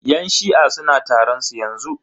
Yan shi'a suna taron su yanzu.